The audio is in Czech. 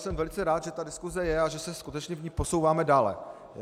Jsem velice rád, že ta diskuse je a že se skutečně v ní posouváme dále.